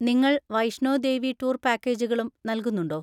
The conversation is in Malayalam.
നിങ്ങൾ വൈഷ്ണോ ദേവി ടൂർ പാക്കേജുകളും നൽകുന്നുണ്ടോ?